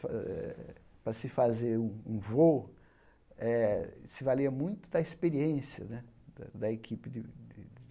Eh para se fazer um um voo eh, se valia muito da experiência né da equipe de de.